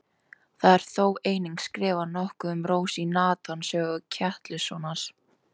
Það er þó einnig skrifað nokkuð um Rósu í Natans sögu Ketilssonar.